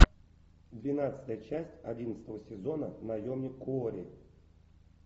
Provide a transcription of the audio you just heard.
двенадцатая часть одиннадцатого сезона наемник куорри